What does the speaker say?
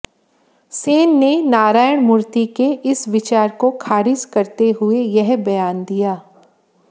सेन ने नारायणमूर्ति के इस विचार को खारिज करते हुए यह बयान दिया